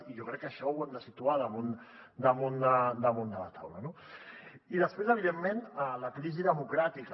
i jo crec que això ho hem de situar damunt de la taula no i després evidentment la crisi democràtica